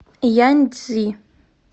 яньцзи